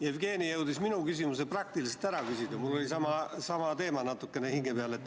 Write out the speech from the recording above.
Jevgeni jõudis minu küsimuse praktiliselt ära küsida, mul oli sama teema hinge peal.